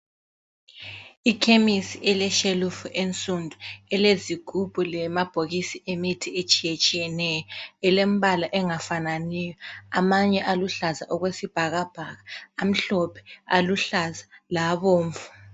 Ikhemisi elamashelufu ensundu elezigubhu lamabhokisi emithi etshiyetshiyeneyo elembala engafananiyo amanye aluhlaza okwesibhakabhaka amhlophe aluhlaza labomvu.